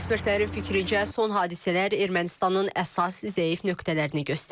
Ekspertlərin fikrincə, son hadisələr Ermənistanın əsas zəif nöqtələrini göstərir.